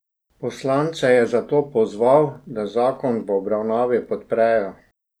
Poslance je zato pozval, da zakon v obravnavi podprejo.